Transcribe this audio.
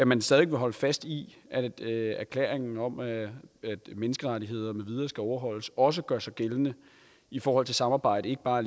man stadig vil holde fast i erklæringen om at menneskerettighederne med videre skal overholdes og også gør sig gældende i forhold til samarbejdet ikke bare